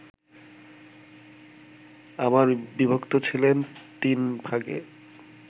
আবার বিভক্ত ছিলেন তিন ভাগে